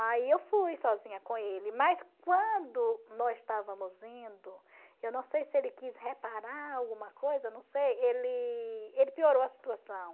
Aí eu fui sozinha com ele, mas quando nós estávamos indo, eu não sei se ele quis reparar alguma coisa, não sei, ele ele piorou a situação.